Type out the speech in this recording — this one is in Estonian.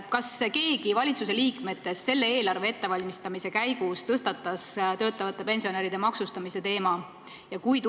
Kas keegi valitsuse liikmetest tõstatas selle eelarve ettevalmistamise käigus töötavate pensionäride maksustamise teema?